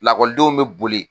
Lakɔlidenw bɛ boli